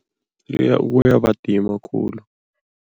Iye, kuyabadima khulu,